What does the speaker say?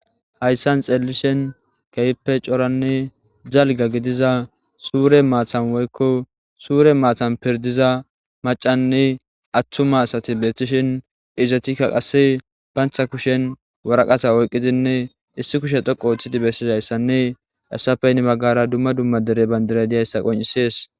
hayssan xeellishen keype coranne jalga gidiza suure maatan woykko suure maatan pirdiza macanne attuma asati beeththishin izatikka qasse bantha kushen waraqasa oyqqidinne issi kushe dhoqo ooththidi bessis hayssanne essapeynni maggara dumma dumma dere bandiray diyayssa qoncisees